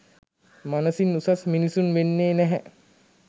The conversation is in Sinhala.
මනසින් උසස් මිනිසුන් වෙන්නේ නැහැ.